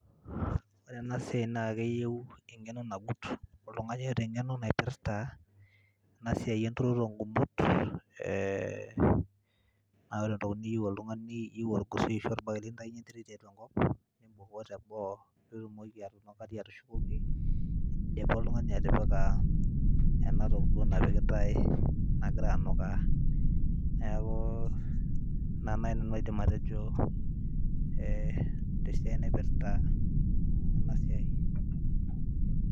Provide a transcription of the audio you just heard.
Ore ena siai naake eyeu eng'eno nagut, oltung'ani oota eng'eno naipirta ena siai enturoto o ng'umot naa ore entoki niyeu oltung'ani naa iyeu orgosoi ashu orbae lintaunye enterit tiatua enkop nimbukoo teboo piitumoki atunukari atushukoki indipa oltung'ani atipika ena toki duo napikitai nagira anukaa. Neeku ina nai nanu aidim atejo ee te siai naipirta ena siai.